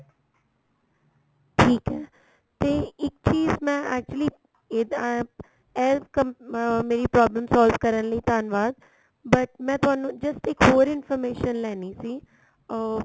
ਠੀਕ ਏ ਤੇ ਇੱਕ ਚੀਜ ਮੈਂ actually ਇਹ ਤਾਂ ਅਹ ਮੇਰੀ problem solve ਕਰਨ ਲਈ ਧੰਨਵਾਦ but ਮੈਂ ਤੁਹਾਨੂੰ just ਇੱਕ ਹੋਰ information ਲੈਣੀ ਸੀ ਅਹ